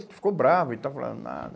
Você ficou bravo e estava falando nada.